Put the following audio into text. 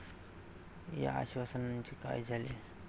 या आश्वासनांचे काय झाले?